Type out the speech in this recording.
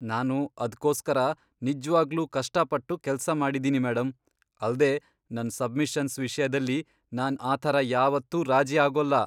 ನಾನು ಅದ್ಕೋಸ್ಕರ ನಿಜ್ವಾಗ್ಲೂ ಕಷ್ಟಪಟ್ಟು ಕೆಲ್ಸ ಮಾಡಿದೀನಿ ಮೇಡಂ, ಅಲ್ದೇ ನನ್ ಸಬ್ಮಿಷನ್ಸ್ ವಿಷ್ಯದಲ್ಲಿ ನಾನ್ ಆ ಥರ ಯಾವತ್ತೂ ರಾಜಿ ಆಗೋಲ್ಲ.